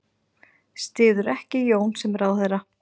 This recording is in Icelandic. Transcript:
Styður ekki Jón sem ráðherra